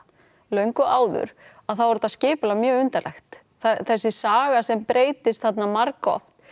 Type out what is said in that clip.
löngu áður þá er þetta skipulag mjög undarlegt þessi saga sem breytist þarna margoft